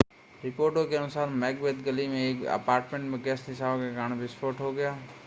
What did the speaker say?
रिपोर्टों के अनुसार मैकबेथ गली में एक अपार्टमेंट में गैस रिसाव के कारण विस्फोट हो गया